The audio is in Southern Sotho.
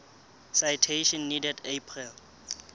citation needed april